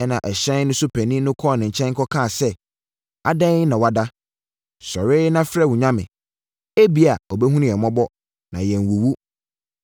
Ɛna ɛhyɛn no so panin no kɔɔ ne nkyɛn kɔkaa sɛ, “Adɛn na woada? Sɔre na frɛ wo nyame! Ebia, ɔbɛhunu yɛn mmɔbɔ, na yɛannwuwu.”